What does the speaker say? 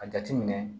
A jateminɛ